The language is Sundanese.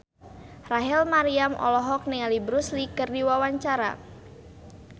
Rachel Maryam olohok ningali Bruce Lee keur diwawancara